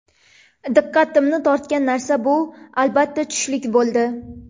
Diqqatimni tortgan narsa bu albatta tushlik bo‘ldi.